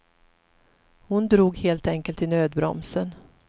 Hon drog helt enkelt i nödbromsen.